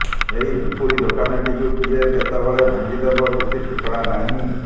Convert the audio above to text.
ଏହି ଝୁପୁଡ଼ି ଦୋକାନଟିକୁ କିଏ କେତେବେଳେ ଭାଙ୍ଗି ଦେବ କିଛି ଠିକଣା ନାହଁ